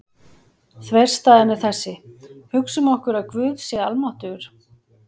Þverstæðan er þessi: Hugsum okkur að Guð sé almáttugur.